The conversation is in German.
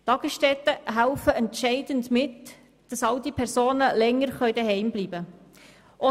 Tagesstätten helfen entscheidend mit, dass alte Personen länger zu Hause bleiben können.